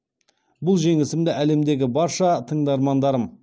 бұл жеңісімді әлемдегі барша тыңдармандарым